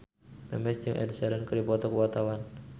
Memes jeung Ed Sheeran keur dipoto ku wartawan